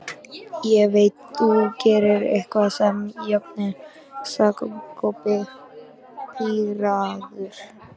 Ég veit þú gerðir eitthvað við járnið, sagði Kobbi pirraður.